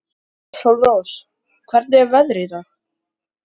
Sólrós, hvernig er veðrið í dag?